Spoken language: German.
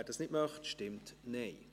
wer dies nicht möchte, stimmt Nein.